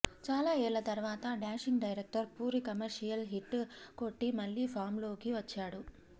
చాల ఏళ్ల తర్వాత dashing director Puri commercial hit కొట్టి మళ్లీ ఫామ్ లోకి వచ్చాడు